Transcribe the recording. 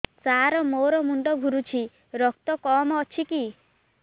ସାର ମୋର ମୁଣ୍ଡ ଘୁରୁଛି ରକ୍ତ କମ ଅଛି କି